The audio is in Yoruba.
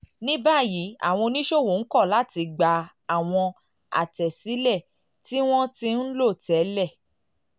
ní báyìí àwọn oníṣòwò ń kọ̀ láti gba àwọn àtẹ̀sílẹ̀ tí wọ́n ti ń lò tẹ́lẹ̀